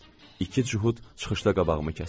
İki cühud çıxışda qabağımı kəsdi.